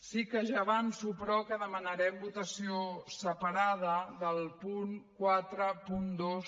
sí que ja avanço però que demanarem votació separada del punt quaranta dos